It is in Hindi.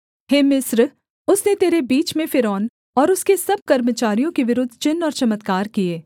हे मिस्र उसने तेरे बीच में फ़िरौन और उसके सब कर्मचारियों के विरुद्ध चिन्ह और चमत्कार किए